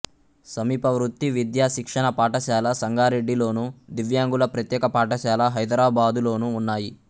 సమీప వృత్తి విద్యా శిక్షణ పాఠశాల సంగారెడ్డిలోను దివ్యాంగుల ప్రత్యేక పాఠశాల హైదరాబాదు లోనూ ఉన్నాయి